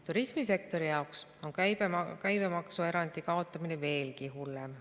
Turismisektori jaoks on käibemaksuerandi kaotamine veelgi hullem.